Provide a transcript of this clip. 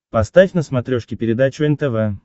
поставь на смотрешке передачу нтв